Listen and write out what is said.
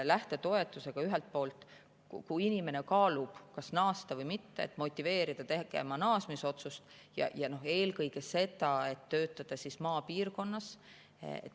Lähtetoetusega saab ühelt poolt, kui inimene kaalub, kas naasta või mitte, motiveerida tegema naasmisotsust ja eelkõige seda, et töötataks maapiirkonnas.